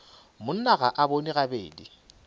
monna ga a bone gabedi